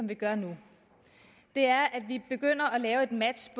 vi gør nu er at vi begynder at lave et match